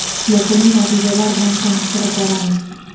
Yakuniy natijalar bilan tanishtirib boramiz.